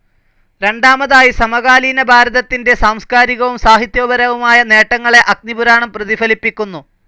രണ്ടാമതായി, സമകാലീനഭാരതത്തിന്റെ സാംസ്കാരികവും സാഹിത്യപരവുമായ നേട്ടങ്ങളെ അഗ്നിപുരാണം പ്രതിഫലിപ്പിക്കുന്നു.